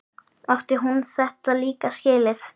Átti hún þetta líka skilið?